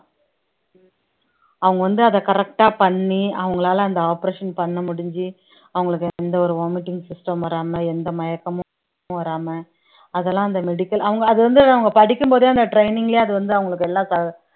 அவங்க வந்து அதை correct ஆ பண்ணி அவங்களால அந்த operation பண்ண முடிஞ்சு அவங்களுக்கு எந்த ஒரு vomiting system மும் வராம எந்த மயக்கமும் வராம அதெல்லாம் அந்த medical அவங்க அது வந்து அவங்க படிக்கும் போதே அந்த training லயே அது வந்து அவங்களுக்கு எல்லாம்